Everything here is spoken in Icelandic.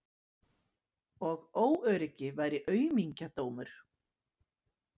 Og óöryggi væri aumingjadómur.